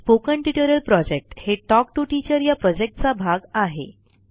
spoken tutorial project हे talk to teacher या प्रॉजेक्टचा भाग आहे